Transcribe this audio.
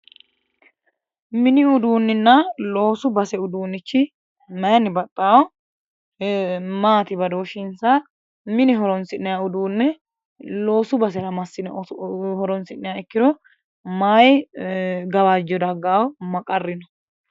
mini uduunninna loosu base uduunnichi mayiinni baxxano? maati badooshinsa mine horonsi'nanni uduunne loosu basera massine horonsi'nanni ikkiro mayi gawajjo dagganno ma qarri no?